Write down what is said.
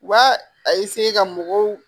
U b'a a ka mɔgɔw